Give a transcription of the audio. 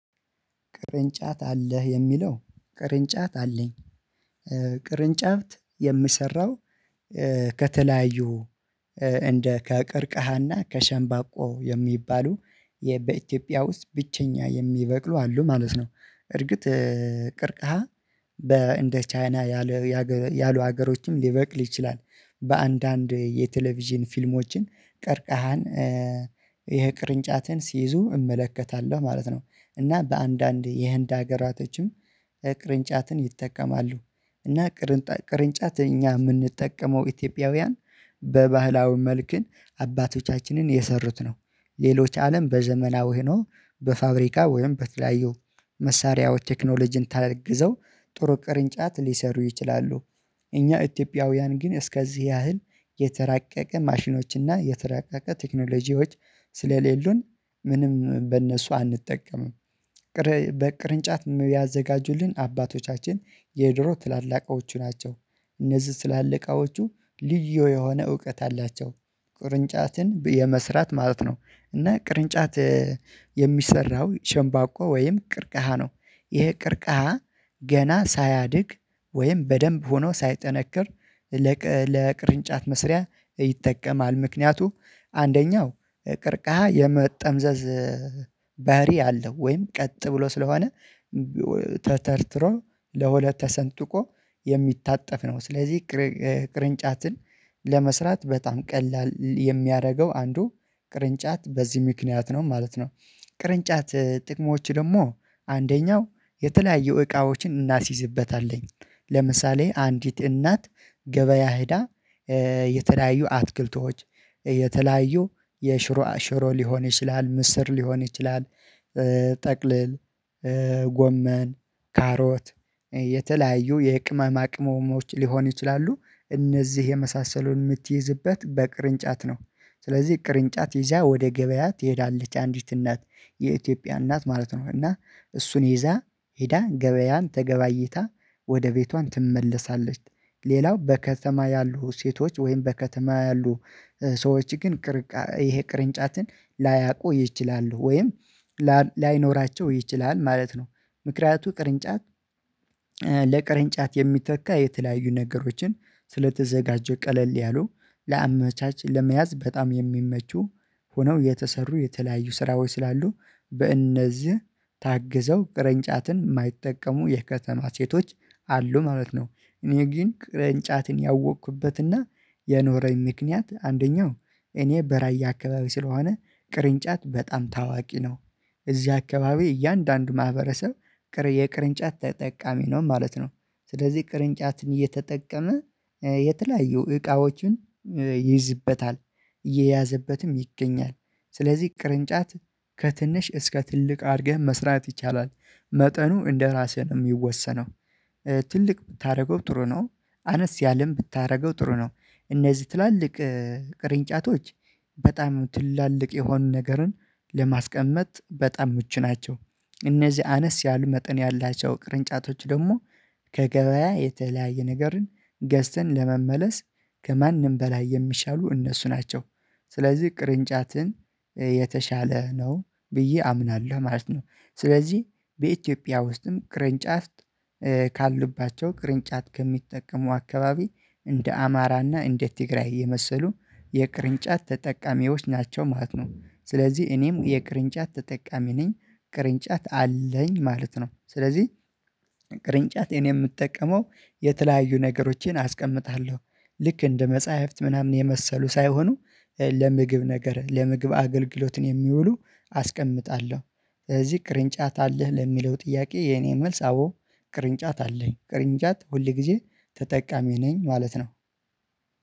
ቅርንጫት አለህ? የሚለው ቅርንጫት አለኝ። ቅርንጫት የሚሰራው ከተለያዩ እንደ ከቅርቅሃና ከሸንባቆ የሚባሉ በኢትዮጵያ ውስጥ ብቸኛ የሚበቅሉ አሉ ማለት ነው። እርግጥ ቅርቃሃ በእንደ ቻይና ያሉ ሀገሮችም ሊበቅል ይችላል። በአንዳንድ የቴሌቪዥን ፊልሞችን ቀርቃሃን ይሄ ቅርንጫትን ሲይዙ እመለከታለሁ ማለት ነው። እና በአንዳንድ የህንድ ሀገራቶችም ቅርንጫትን ይጠቀማሉ። እና ቅርጫት እኛ የምንጠቀመው ኢትዮጵያውያን በባህላዊ መልክን አባቶቻችንን የሰሩት ነው። ሌሎች አለም በዘመናዊ ሆኖ በፋብሪካ ወይም በተለያዩ መሳሪያዎች ቴክኖሎጂን ታግዘው ጥሩ ቅርንጫት ሊሰሩ ይችላሉ። እኛ ኢትዮጵያውያን ግን እስከዚህ ያህል የተራቀቀ ማሽኖች እና የተራቀቀ ቴክኖሎጂዎች ስለሌሉን ምንም በእነሱ አንጠቀምም። ቅር በቅርንጫት ያዘጋጁልን አባቶቻችን የድሮ ትላልቃዎቹ ናቸው። እነዚህ ትላለቃዎቹ ልዩ የሆነ እውቀት አላቸው። ቅርንጫትን የመስራት ማለት ነው። እና ቅርንጫት የሚሰራው ሸንባቆ ወይም ቅርቅሃ ነው። ይሄ ቅርቅሃ ገና ሳያድግ ወይም በደንብ ሆኖ ሳይጠነክር ለቅርንጫት መስሪያ ይጠቀማል። ምክንያቱ አንደኛው ቅርቃ የመጠምዘዝ ባህሪ አለው ወይም ቀጥ ብሎ ስለሆነ ተተርትሮ ለሁለት ተሰንጥቆ የሚታጠፍ ነው። ስለዚህ ቅርንጫትን ለመስራት በጣም ቀላል የሚያደርገው አንዱ ቅርንጫት በዚህ ምክንያት ነው ማለት ነው። ቅርንጫት ጥቅሞች ደግሞ አንደኛው የተለያየ እቃዎችን እናስይዝበታለን። ለምሳሌ አንዲት እናት ገበያ ሄዳ የተለያዩ አትክልቶች የተለያዩ የሽሮ ሽሮ ሊሆን ይችላል፣ ምስር ሊሆን ይችላል፣ ጠቅልል ጎመን፣ ካሮት የተለያዩ የቅመማ ቅመሞች ሊሆን ይችላሉ፤ እነዚህ የመሳሰሉን የምትይዝበት በቅርንጫት ነው። ስለዚህ ቅርንጫት ይዛ ወደ ገበያት ይሄዳለች አንዲት እናት የኢትዮጵያ እናት ማለት ነው። እና እሱን ይዛ ሄዳ ገበያን ተገባይታ ወደ ቤቷን ትመለሳለች። ሌላው በከተማ ያሉ ሴቶች ወይም በከተማ ያሉ ሰዎች ግን ቅርንጫት ይሄ ቅርንጫትን ላያውቁ ይችላሉ። ወይም ላይኖራቸው ይችላል ማለት ነው። ምክንያቱ ቅርንጫት ለቅርንጫት የሚተካ የተለያዩ ነገሮችን ስለተዘጋጀ። ቀለል ያሉ ለአመቻች ለመያዝ በጣም የሚመቹ ሆነው የተሰሩ የተለያዩ ስራዎች ወይ ስላሉ በእነዚህ ታግዘው ቅርንጫትን የማይጠቀሙ የከተማ ሴቶች አሉ ማለት ነው። እኔ ግን ቅርንጫትን ያወቅኩበትና የኖረኝ ምክንያት አንደኛው እኔ በራያ አካባቢ ስለሆነ ቅርንጫት በጣም ታዋቂ ነው። እዚህ አካባቢ እያንዳንዱ ማህበረሰብ የቅርንጫት ተጠቃሚ ነው ማለት ነው። ስለዚህ ቅርንጫትን እየተጠቀመ የተለያየው እቃዎችን ይይዝበታል። እየያዘበትም ይገኛል። ስለዚህ ቅርንጫት ከትንሽ እስከ ትልቅ አድርገህ መስራት ይቻላል። መጠኑ እንደራስህ ነው የሚወሰነው። ትልቅ ብታደርገው ጥሩ ነው። አነስ ያለም ብታደርገው ጥሩ ነው። እነዚህ ትላልቅ ቅርንጫቶች በጣም ትላልቅ የሆኑ ነገርን ለማስቀመጥ በጣም ምቹ ናቸው። እነዚህ አነስ ያሉ መጠን ያላቸው ቅርንጫቶች ደግሞ ከገበያ የተለያየ ነገርን ገዝተን ለመመለስ ከማንም በላይ የሚሻሉ እነሱ ናቸው። ስለዚህ ቅርንጫትን የተሻለ ነው ብዬ አምናለሁ ማለት ነው። ስለዚህ በኢትዮጵያ ውስጥም ቅርንጫት ካሉባቸው ቅርንጫት ከሚጠቀሙ አካባቢ እንደ አማራና እንደ ትግራይ የመሰሉ የቅርንጫት ተጠቃሚዎች ናቸው ማለት ነው። ስለዚህ እኔም የቅርንጫት ተጠቃሚ ነኝ፤ ቅርንጫት አለኝ ማለት ነው። ስለዚህ ቅርንጫት እኔ የምጠቀመው የተለያዩ ነገሮቼን አስቀምጣለሁ፤ ልክ እንደ መጽሐፍት ምናምን የመሰሉ ሳይሆኑ ለምግብ ነገር ለምግብ አገልግሎትን የሚውሉ አስቀምጣለሁ። ስለዚህ ቅርንጫት አለህ ለሚለው ጥያቄ የኔ መልስ አዎ ቅርንጫት አለኝ። ቅርንጫት ሁሌ ጊዜ ተጠቃሚ ነኝ ማለት ነው።